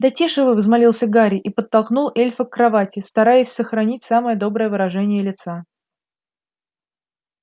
да тише вы взмолился гарри и подтолкнул эльфа к кровати стараясь сохранить самое доброе выражение лица